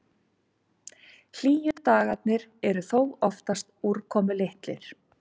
Hlýju dagarnir eru þó oftast úrkomulitlir.